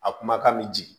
A kumakan bɛ jigin